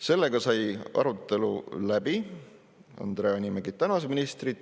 Sellega sai arutelu läbi, Andre Hanimägi tänas ministrit.